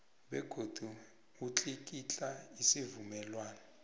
begodu utlikitla isivumelwano